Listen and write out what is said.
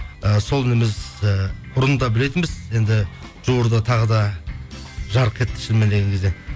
і сол ініміз ііі бұрын да білетінбіз енді жуырда тағы да жарқ етті шынымен келген кезде